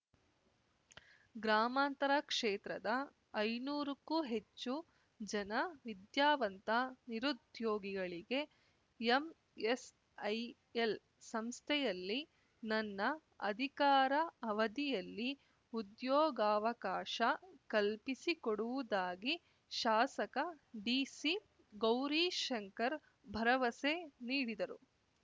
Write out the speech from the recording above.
ಗ್ರಾಮಾಂತರ ಕ್ಷೇತ್ರದ ಐನೂರು ಕ್ಕೂ ಹೆಚ್ಚು ಜನ ವಿದ್ಯಾವಂತ ನಿರುದ್ಯೋಗಿಗಳಿಗೆ ಎಂಎಸ್ಐಎಲ್ ಸಂಸ್ಥೆಯಲ್ಲಿ ನನ್ನ ಅಧಿಕಾರ ಅವಧಿಯಲ್ಲಿ ಉದ್ಯೋಗಾವಕಾಶ ಕಲ್ಪಿಸಿಕೊಡುವುದಾಗಿ ಶಾಸಕ ಡಿ ಸಿ ಗೌರಿಶಂಕರ್ ಭರವಸೆ ನೀಡಿದರು